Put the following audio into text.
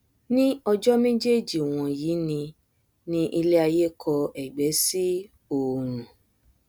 ní ọjọ méjéèjì wọnyí ni ni iléaiyé kọ ẹgbẹ sí òòrùn